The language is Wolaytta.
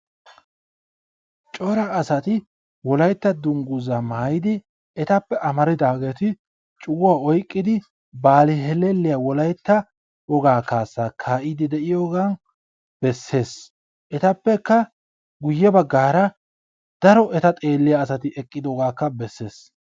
Cora asati Wolaytta dungguzaa maayidi etappe amaridaageeti cuguwa oyqqidi baali hellelliya Wolaytta wogaa kaassaa kaa'iddi de'iyogaa bessees. Etappekka guyyebbaggaara daro eta xeelliya asati eqqidoogaakka bessees.